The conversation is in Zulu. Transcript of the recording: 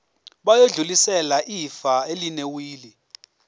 bayodlulisela ifa elinewili